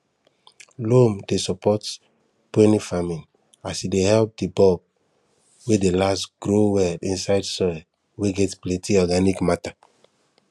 loam dey support peony farming as e help di bulbs wey dey last grow well inside soil wey get plenty organic matter